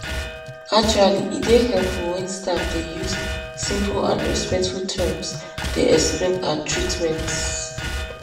actually e dey helpful wen staff dey use simple and respectful terms dey explain ah treatments